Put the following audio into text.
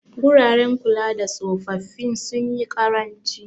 Guraren kulada tsofaffi sunyi ƙaranci.